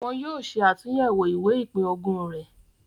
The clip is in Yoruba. Wọn yóò ṣe àtúyẹ̀wò ìwé ìpín-ogún rẹ̀.